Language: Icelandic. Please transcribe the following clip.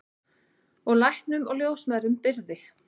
Og læknum og ljósmæðrum brygði.